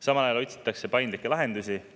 Samal ajal otsitakse paindlikke lahendusi.